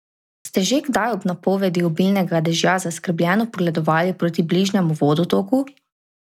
Ste že kdaj ob napovedi obilnega dežja zaskrbljeno pogledovali proti bližnjemu vodotoku?